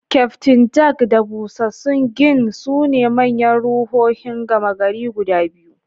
Kyaftin Jack da busassun gin sune manyan ruhohin gama gari guda biyu.